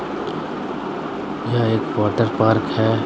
यह एक water park है।